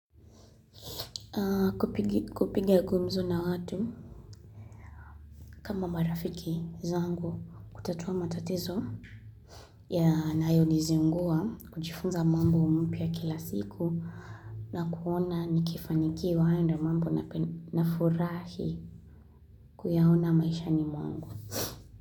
Kupiga gumzo na watu kama marafiki zangu kutatua matatizo yanayoniziungua kujifunza mambo umpia kila siku na kuona nikifanikiwa ndio mambo na furahi kuyaona maisha ni mwangu.